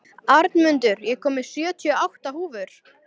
Arnmundur, ég kom með sjötíu og átta húfur!